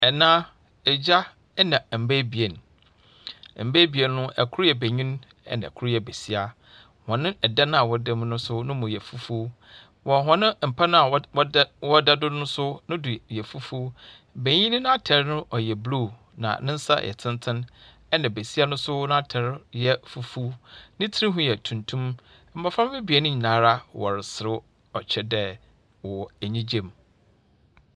Ɛna, Agya na mba ebien. Mba ebien no, kor yɛ benyin na kor yɛ besia. Hɔn dan a wɔda mu no nso ne mu yɛ fufuo. Wɔ hɔn mpa no a wɔd wɔda wɔda do no nso ne do yɛ fufuo. Benyin no n'atar no yɛ blue na ne nsa yɛ tsentsen, ɛnna besia no nso n'atar yɛ fufuo. ne tsir ho yɛ tuntum. Mmɔframma ebien no nyinaa wɔreserew, ɔkyerɛ dɛ wɔwɔ anigyem.